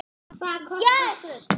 Hvað kostar gull?